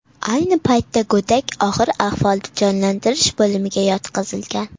Ayni paytda go‘dak og‘ir ahvolda jonlantirish bo‘limiga yotqizilgan.